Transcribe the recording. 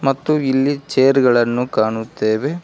ಮತ್ತು ಇಲ್ಲಿ ಚೇರ್ ಗಳನ್ನು ಕಾಣುತ್ತೇವೆ.